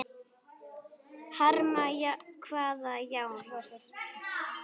Hamra hvaða járn?